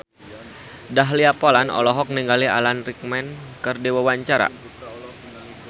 Dahlia Poland olohok ningali Alan Rickman keur diwawancara